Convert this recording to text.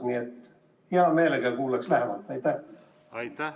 Nii et hea meelega kuulaks sellest lähemalt.